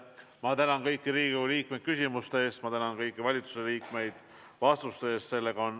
Ma tänan kõiki Riigikogu liikmeid küsimuste eest ja kõiki valitsuse liikmeid vastuste eest.